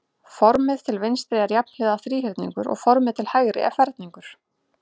Formið til vinstri er jafnhliða þríhyrningur og formið til hægri er ferningur.